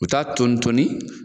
U bɛ taa tonitoni